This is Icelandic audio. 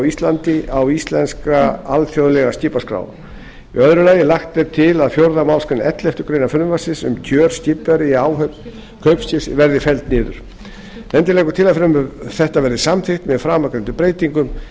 íslandi á íslenska alþjóðlega skipaskrá annars lagt er til að fjórðu málsgrein elleftu greinar frumvarpsins um kjör skipverja í áhöfn kaupskips verði felld niður nefndin leggur til að frumvarpið verði samþykkt með framangreindum breytingum